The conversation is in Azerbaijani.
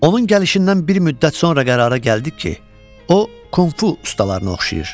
Onun gəlişindən bir müddət sonra qərara gəldik ki, o, Konfu ustalarına oxşayır.